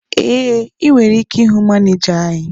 Ee, ị nwere ike ịhụ manịja anyị.